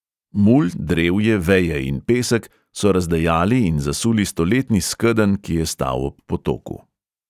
Mulj, drevje, veje in pesek so razdejali in zasuli stoletni skedenj, ki je stal ob potoku.